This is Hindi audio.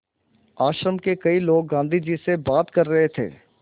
आश्रम के कई लोग गाँधी जी से बात कर रहे थे